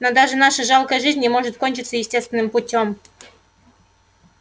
но даже наша жалкая жизнь не может кончиться естественным путём